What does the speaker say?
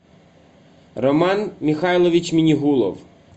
роман михайлович минегулов